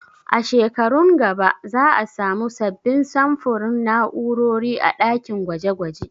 A shekarun gaba za a samu sabbin samfurin na'urori a ɗakin gwaje gwaje